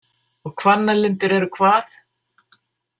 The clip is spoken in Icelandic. Og Hvannalindir eru hvað?